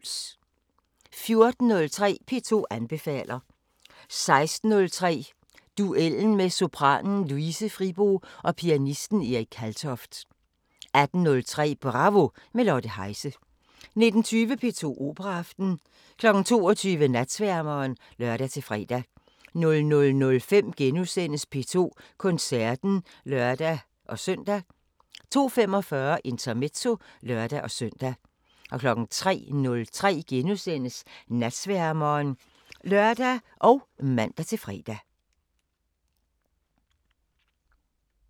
14:03: P2 anbefaler 16:03: Duellen med sopranen Louise Fribo og pianisten Erik Kaltoft 18:03: Bravo – med Lotte Heise 19:20: P2 Operaaften 22:00: Natsværmeren (lør-fre) 00:05: P2 Koncerten *(lør-søn) 02:45: Intermezzo (lør-søn) 03:03: Natsværmeren *(lør og man-fre)